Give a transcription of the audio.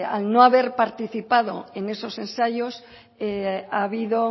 al no haber participado en esos ensayos ha habido